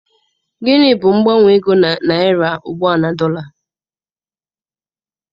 Gịnị bụ mgbanwe ego Naira ugbua na dọla?